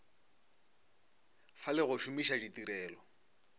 fa le go šomiša ditirelo